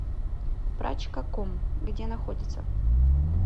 прачкаком где находится